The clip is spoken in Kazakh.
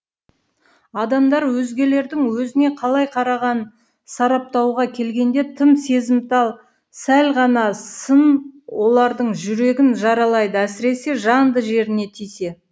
адамдар өзгелердің өзіне қалай қарағанын сараптауға келгенде тым сезімтал сәл ғана сын олардың жүрегін жаралайды әсіресе жанды жеріне тисе